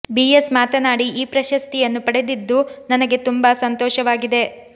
B S ಮಾತನಾಡಿ ಈ ಪ್ರಶಸ್ತಿಯನ್ನು ಪಡೆದಿದ್ದು ನನಗೆ ತುಂಬಾ ಸಂತೋಷವಾಗಿದೆ